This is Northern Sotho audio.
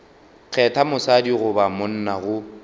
kgetha mosadi goba monna go